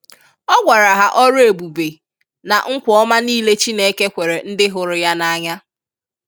Ọ gwara ha ọrụ ebube na nkwà ọma niile Chineke kwere ndị hụrụ Ya n'anya.